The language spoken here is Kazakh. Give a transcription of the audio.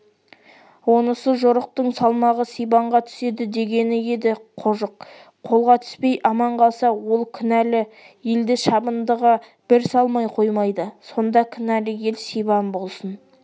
онысы жорықтың салмағы сибанға түседі дегені еді қожық қолға түспей аман қалса ол кінәлі елді шабындыға бір салмай қоймайды сонда кінәлі ел сибан болсын